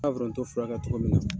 foronto furakɛ cogo min na.